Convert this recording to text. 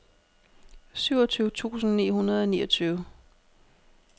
syvogtyve tusind ni hundrede og niogtyve